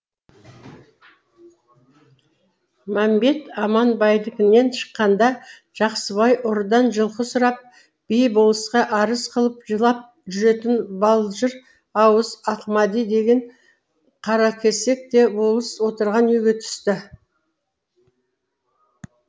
мәмбет аманбайдікінен шыққанда жақсыбай ұрыдан жылқы сұрап би болысқа арыз қылып жылап жүретін балжыр ауыз ақмади деген қаракесек те болыс отырған үйге түсті